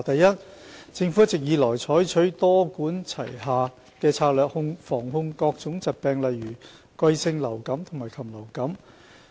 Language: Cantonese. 一政府一直以來採取多管齊下的策略，防控各種疾病例如季節性流感和禽流感。